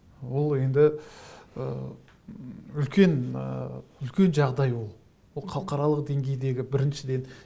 ол енді ы үлкен ы үлкен жағдай ол ол халықаралық деңгейдегі біріншіден